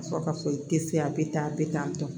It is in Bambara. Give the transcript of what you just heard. Ka sɔrɔ ka fɔ i te se a be tan a be tan tɔ